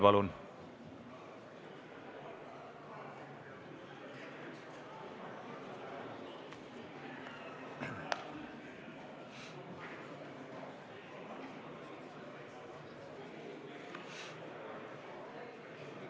Palun!